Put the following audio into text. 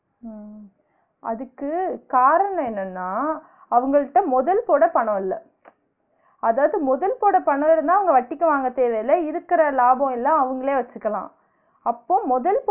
ஆஹ் அதுக்கு காரணம் என்னன்னா அவுங்கள்ட்ட முதல் போட பணம் இல்ல அதாவது முதல் போட பணம் இருந்தா அவுங்க வட்டிக்கு வாங்க தேவயில்ல இருக்குற லாபமெல்லாம் அவுங்களே வச்சிக்கலாம் அப்போ முதல்